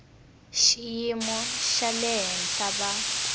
xiyimo xa le henhla va